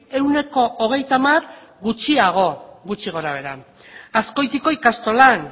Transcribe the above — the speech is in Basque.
ehuneko hogeita hamar gutxiago gutxi gorabehera azkoitiko ikastolan